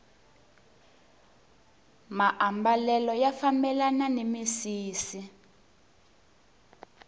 maambalelo ya fambelana ni misisi